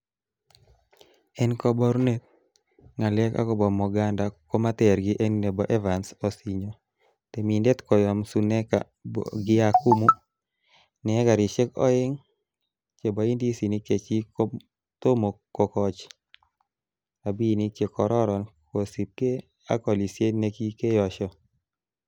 En koborunet, ngalek agobo Moganda komater gii en nebo Evans Onsinyo, temindet koyom Suneka Bogiakumu, ne ekarisiek oeng che bo indisinik chechik kotomkokochi rabinik che kororon kosiibge ak olisiet nekikeyesho.